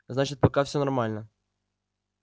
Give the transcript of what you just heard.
значит пока всё нормально